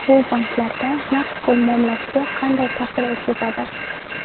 Bu banklarda naqd pul muomalasiga qanday ta’sir o‘tkazadi?